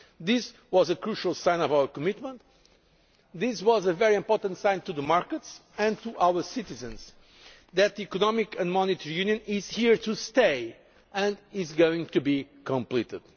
Fund. This was a crucial sign of our commitment. It was a very important sign to the markets, and to our citizens, that Economic and Monetary Union is here to stay and is going to be completed.